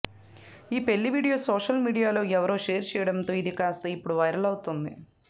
ఈ పెళ్లి video social మీడియాలో ఎవరో షేర్ చేయడంతో ఇది కాస్తా ఇప్పుడు వైరల్ అవుతుంది